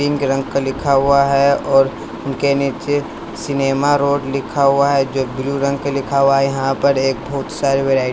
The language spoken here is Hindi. पिंक रंग का लिखा हुआ है और उनके नीचे सिनेमा रोड लिखा हुआ है जो ब्लू रंग का लिखा हुआ है यहाँ पर एक बहुत सारी वराई--